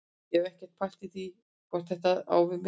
Ég hef ekkert pælt neitt í því hvort þetta á við mig.